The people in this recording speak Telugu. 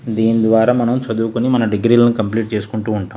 దీని ద్వారా మనం చదువుకొని మన డిగ్రీ లు కంప్లీట్ చేసుకుంటాం.